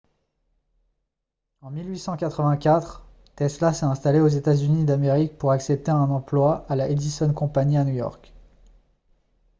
en 1884 tesla s'est installé aux états-unis d'amérique pour accepter un emploi à la edison company à new york